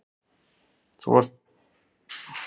Þú varst víst of ungur til að taka á þig þessa kvöð.